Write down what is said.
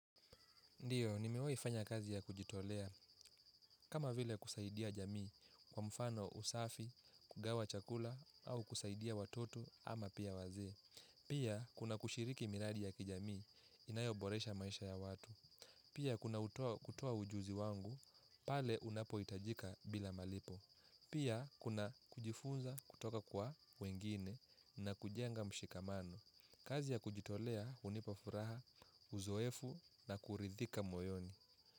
Ndiyo, nimiwefanya kazi ya kujitolea, kama vile kusaidia jamii, kwa mfano usafi, kugawa chakula, au kusaidia watoto ama pia wazee. Pia, kuna kushiriki miradi ya kijamii, inayoboresha maisha ya watu. Pia, kuna kutoa ujuzi wangu, pale unapoitajika bila malipo. Pia, kuna kujifunza kutoka kwa wengine na kujenga mshikamano. Kazi ya kujitolea hunipa furaha. Uzoefu na kuridhika moyoni.